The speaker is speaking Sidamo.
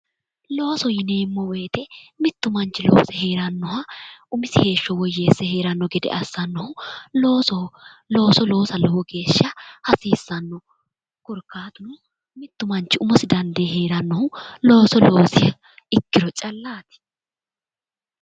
Looso yineemmo woyiite mittu manchi loose heeerannoha umisi heeshsho woyyeesse heeranno gede assannohu loosoho looso loosa lowo geeshsha hasiissanno korkaatuno mittu manchi umosi dandee heerannohu looso loosiha ikkiro callaati